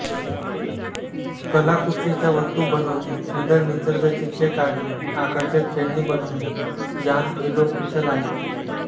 कलाकुसरीच्या वस्तू बनवणेसुंदर निसर्ग चित्रे काढणेआकर्षक खेळणी बनवणे यांत हे लोक कुशल आहेत